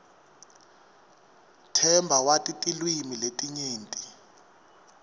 themba wati tilwimi letinyenti